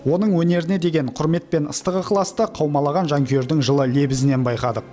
оның өнеріне деген құрмет пен ыстық ықыласты қаумалаған жанкүйердің жылы лебізінен байқадық